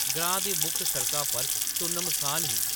ग्रां दी मुक्ख सड़का पर सुन्न-मसान ही ।